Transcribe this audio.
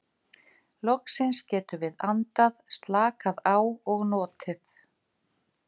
Loksins getum við andað, slakað á og notið.